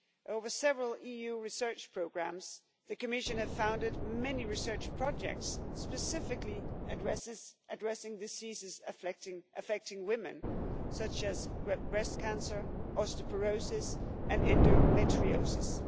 Over several EU research programmes the Commission has founded many research projects, specifically addressing diseases affecting women, such as breast cancer, osteoporosis and endometriosis.